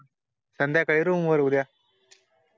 संध्याकाळी रूम वर उद्या